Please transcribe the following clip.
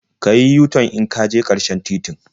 Ka yi yu-tan in ka je ƙarshen titin.